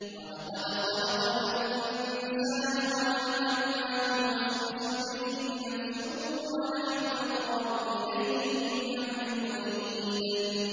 وَلَقَدْ خَلَقْنَا الْإِنسَانَ وَنَعْلَمُ مَا تُوَسْوِسُ بِهِ نَفْسُهُ ۖ وَنَحْنُ أَقْرَبُ إِلَيْهِ مِنْ حَبْلِ الْوَرِيدِ